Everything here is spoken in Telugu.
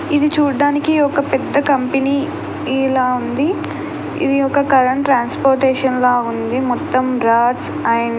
ఇది చూడ్డానికి ఒక పెద్ద కంపెనీ లా ఉంది. ఇది ఒక కరెంట్ ట్రాన్స్పోర్టేషన్ల లా ఉంది. మొత్తం రాడ్స్ అండ్ --